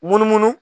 Munumunu